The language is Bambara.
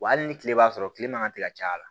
Wa hali ni tile b'a sɔrɔ tile man kan tɛ ka caya